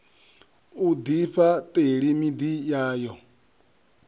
u ḓifha ṱela miḓi yayo